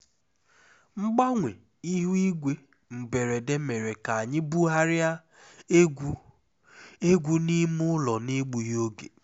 mgbanwe ihu igwe mberede mere ka anyị bugharịa egwu egwu n'ime ụlọ n'egbughị oge